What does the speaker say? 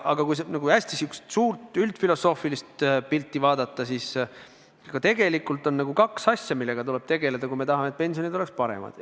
Aga kui hästi suurt üldfilosoofilist pilti vaadata, siis tegelikult on kaks asja, millega tuleb tegeleda, kui me tahame, et pensionid oleks paremad.